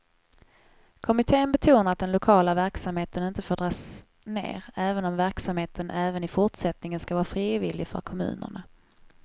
Kommittén betonar att den lokala verksamheten inte får dras ner, även om verksamheten även i fortsättningen skall vara frivillig för kommunerna.